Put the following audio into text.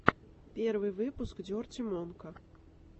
первый выпуск дерти монка